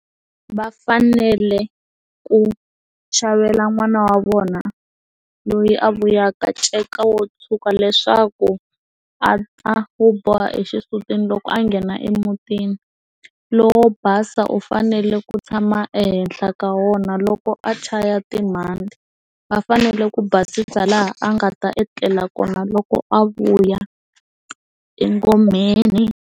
Va fanele ku xavela n'wana wa vona loyi a vuyaka nceka wo tshuka leswaku a ta wu boha exisutwini loko a nghena emutini lowo basa wu fanele ku tshama ehenhla ka wona loko a chaya va fanele ku basisa laha a nga ta etlela kona loko a vuya engomeni.